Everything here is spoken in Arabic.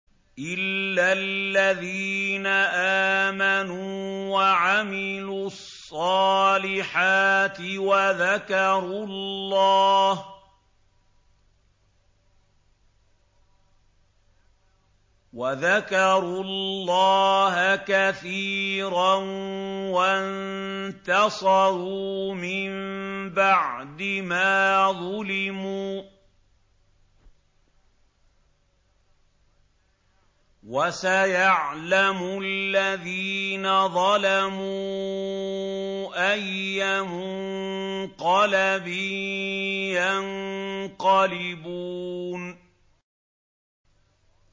إِلَّا الَّذِينَ آمَنُوا وَعَمِلُوا الصَّالِحَاتِ وَذَكَرُوا اللَّهَ كَثِيرًا وَانتَصَرُوا مِن بَعْدِ مَا ظُلِمُوا ۗ وَسَيَعْلَمُ الَّذِينَ ظَلَمُوا أَيَّ مُنقَلَبٍ يَنقَلِبُونَ